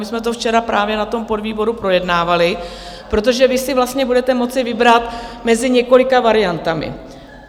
My jsme to včera právě na tom podvýboru projednávali, protože vy si vlastně budete moci vybrat mezi několika variantami.